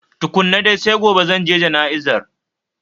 Tukkunan dai, sai gobe zanje jana'izar